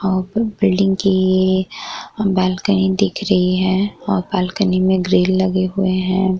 और बिल्डिंग की बालकनी दिख रही है और बालकनी में ग्रील लगे हुए हैं।